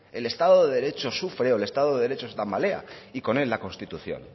el estado de derecho sufre o que el estado de derecho se tambalea y con él la constitución